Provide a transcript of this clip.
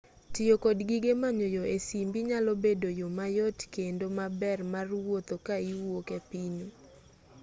tiyo kod gige manyo yo e simbi nyalo bedo yo mayot kendo maber mar wuotho ka iwuok e pinyu